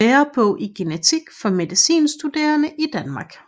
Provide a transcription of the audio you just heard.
Lærebog i genetik for medicinstuderende i Danmark